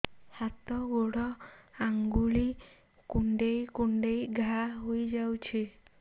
ହାତ ଗୋଡ଼ ଆଂଗୁଳି କୁଂଡେଇ କୁଂଡେଇ ଘାଆ ହୋଇଯାଉଛି